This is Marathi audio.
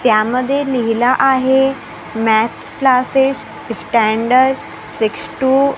त्यामध्ये लिहिलं आहे maths classes standard six two --